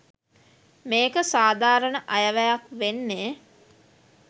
මේක සාධාරණ අයවැයක් වෙන්නේ